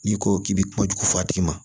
N'i ko k'i bɛ kojugu f'a tigi ma